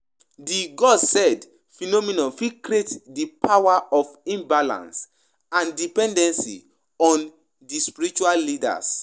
Di 'God said' phenomenon fit create di power of imbalance and dependency on di spiritual leaders.